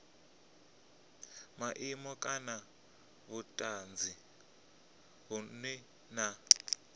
maimo kana vhutanzi vhunwe na